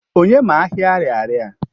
Onye ma Ahịa Ariaria?